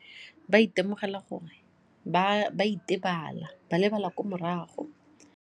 Ba itemogela gore ba itebale, ba lebala ko morago.